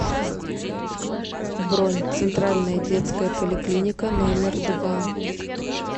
бронь центральная детская поликлиника номер два